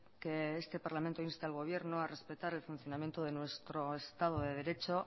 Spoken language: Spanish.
que este parlamento inste al gobierno a respetar el funcionamiento de nuestro estado de derecho